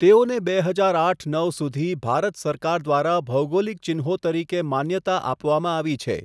તેઓને બે હજાર આઠ નવ સુધી ભારત સરકાર દ્વારા ભૌગોલિક ચિહ્નો તરીકે માન્યતા આપવામાં આવી છે.